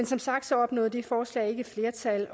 som sagt opnåede det forslag ikke flertal